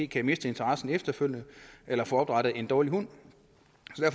kan miste interessen efterfølgende eller få opdrættet en dårlig hund